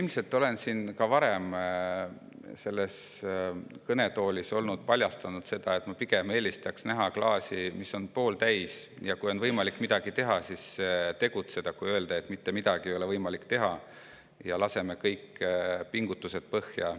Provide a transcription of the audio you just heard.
Ma olen ilmselt ka varem selles kõnetoolis paljastanud, et ma pigem eelistaks näha klaasi, mis on pooltäis: kui on võimalik midagi teha, siis tuleb tegutseda, mitte öelda, et mitte midagi ei ole võimalik teha ja laseme kõik pingutused põhja.